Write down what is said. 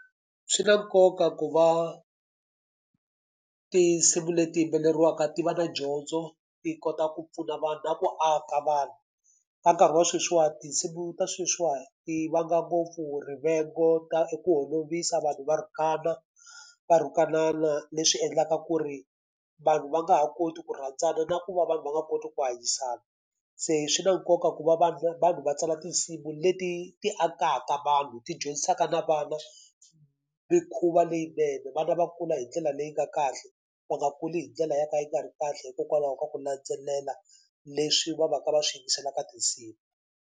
Swi na nkoka ku va tinsimu leti yimbelariwaka ti va na dyondzo, ti kota ku pfuna vanhu na ku aka vanhu. Ka nkarhi wa sweswiwani tinsimu ta sweswiwani ti vanga ngopfu rivengo, i ku holovisa, vanhu va rhukana, va rhukanana. Leswi endlaka ku ri vanhu va nga ha koti ku rhandzana na ku va vanhu va nga koti ku hanyisana. Se swi na nkoka ku va vanhu vanhu va tsala tinsimu leti ti akaka vanhu, ti dyondzisaka na vana mikhuva leyinene. Vana va kula hi ndlela leyi nga kahle, va nga kuli hi ndlela yo ka yi nga ri kahle hikokwalaho ka ku landzelela leswi va va ka va swi yingisela ka tinsimu.